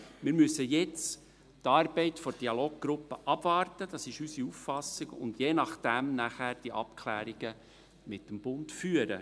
Wir müssen jetzt die Arbeit der Dialoggruppe abwarten – das ist unsere Auffassung – und je nachdem danach die Abklärungen mit dem Bund führen.